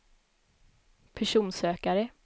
personsökare